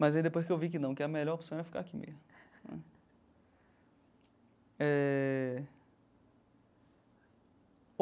Mas aí depois que eu vi que não, que a melhor opção era ficar aqui mesmo né eh.